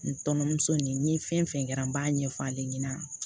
N tɔnmuso nin fɛn kɛra n b'a ɲɛfɔ ale ɲɛna